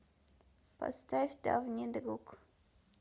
поставь давний друг